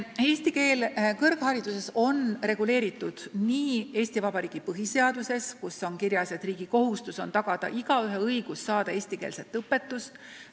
Eesti keele roll on reguleeritud Eesti Vabariigi põhiseaduses, kus on kirjas, et riigi kohustus on tagada igaühe õigus saada eestikeelset õpetust.